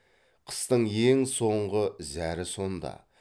қыстың ең соңғы зәрі сонда